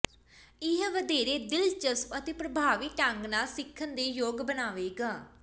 ਇਹ ਵਧੇਰੇ ਦਿਲਚਸਪ ਅਤੇ ਪ੍ਰਭਾਵੀ ਢੰਗ ਨਾਲ ਸਿੱਖਣ ਦੇ ਯੋਗ ਬਣਾਵੇਗਾ